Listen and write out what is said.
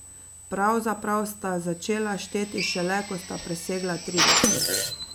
Pravzaprav sta začela šteti šele, ko sta presegla trideset.